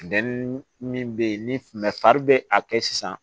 Min bɛ ye ni fari bɛ a kɛ sisan